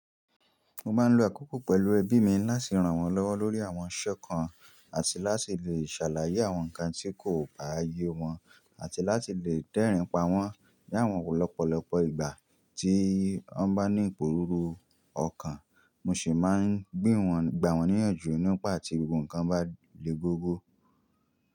Mo máa ń lo àkókò pẹ̀lú ẹbí mi láti ràn wọ́n lọ́wọ́ lórí àwọn ńṣe kan àti láti lè ṣàlàyé àwọn nǹkan tí kò gba ààyè wọn àti láti lè dẹ́rìn pa wọ́n ní àwọn lọ́pọ̀lọpọ̀ ìgbà tí wọ́n bá ní ìpòrúru ọkàn. Mo sì máa ń gbé wọn, gba wọn níyànjú nípa tí gbogbo nǹkan bá le gogo.